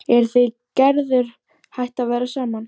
Eruð þið Gerður hætt að vera saman?